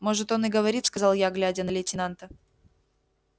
может он и говорит сказал я глядя на лейтенанта